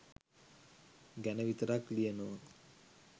ගැන විතරක් ලියනවා.